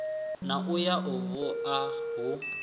na ya u bua hu